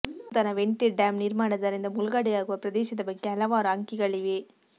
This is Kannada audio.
ನೂತನ ವೆಂಟೆಡ್ ಡ್ಯಾಂ ನಿರ್ಮಾಣದರಿಂದ ಮುಳುಗಡೆಯಾಗುವ ಪ್ರದೇಶದ ಬಗ್ಗೆ ಹಲವಾರು ಅಂಕಿಗಳಿವೆ